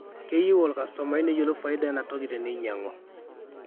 keyie olkastomai neyiolou faida enaa toki teneinyangu